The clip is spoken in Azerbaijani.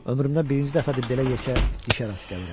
Ömrümdə birinci dəfədir belə yekə dişə rast gəlirəm.